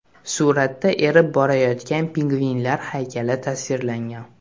Suratda erib borayotgan pingvinlar haykali tasvirlangan.